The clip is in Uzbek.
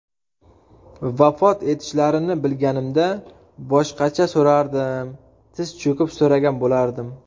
Vafot etishlarini bilganimda boshqacha so‘rardim tiz cho‘kib so‘ragan bo‘lardim.